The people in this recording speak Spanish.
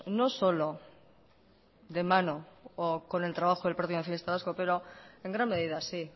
no solo de mano o con el trabajo del partido nacionalista vasco pero en gran medida sí